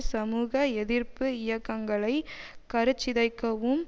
சமூக எதிர்ப்பு இயக்கங்களை கருச்சிதைக்கவும்